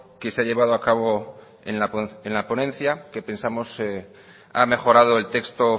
que se ha llevado a cabo en la ponencia que pensamos ha mejorado el texto